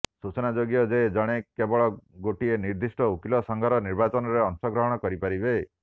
ସୂଚନା ଯୋଗ୍ୟ ଯେ ଜଣେ କେବଳ ଗୋଟିଏ ନିର୍ଦ୍ଦିଷ୍ଟ ଓକିଲ ସଂଘର ନିର୍ବାଚନରେ ଅଂଶଗ୍ରହଣ କରିପାରିବେ